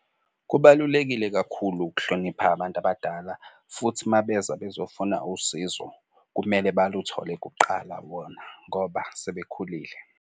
Kubalulekile kakhulu ukuhlonipha abantu abadala futhi uma beza bezofuna usizo kumele baluthole kuqala bona ngoba sebekhulile.